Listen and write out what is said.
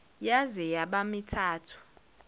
yaze yaba mithathu